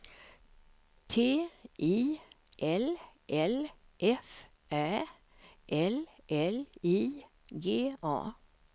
T I L L F Ä L L I G A